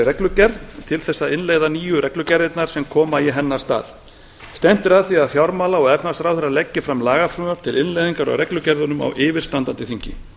reglugerð til þess að innleiða nýju reglugerðirnar sem koma í hennar stað stefnt er að því að fjármála og efnahagsráðherra leggi fram lagafrumvarp til innleiðingar á reglugerðunum á yfirstandandi þingi